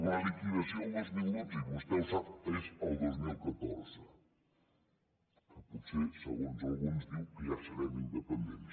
la liquidació del dos mil dotze i vostè ho sap és el dos mil catorze que potser segons alguns diu que ja serem independents